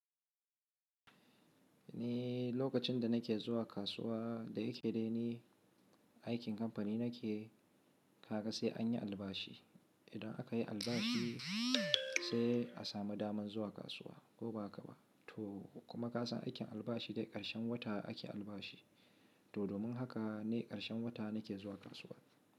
Ni lokacin da nake zuwa kasuwa da yake dai ne aikin kamfani nake, kaga sai an yi albashi. Idan aka yi albashi sai a samu damar zuwa kasuwa ko ba ka ba. To kuma ka san aikin albashi dai ƙarshen wata ake albashi. To domin haka ne ƙarshen wata nake zuwa kasuwa.